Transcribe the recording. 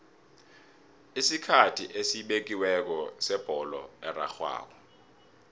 isikhathi esibekiweko sebholo erarhwako